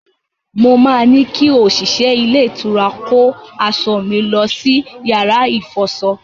Mo máa ní kí òṣìṣẹ́ ilé-ìtura kó aṣọ mi lọ sí yàrá ìfọṣọ.